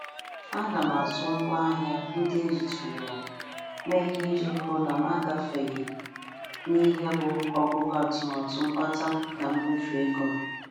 Ana m azụ ngwa ahịa ndị e jitụrụla mee ihe iji hụ na m agafeghị n'ihe bụ ogugo atụmatụ mkpata na mmefu ego m.